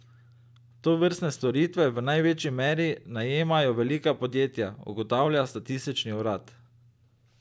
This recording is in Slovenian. Tovrstne storitve v največji meri najemajo velika podjetja, ugotavlja statistični urad.